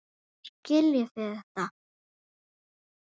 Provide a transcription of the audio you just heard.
Þá skiljið þið þetta.